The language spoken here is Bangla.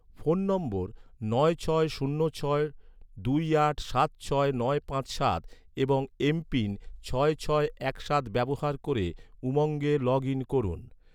ফোন নম্বর নয় ছয় শূন্য ছয় দুই আট সাত ছয় নয় পাঁচ সাত এবং এমপিন ছয় ছয় এক সাত ব্যবহার ক’রে, উমঙ্গে লগ ইন করুন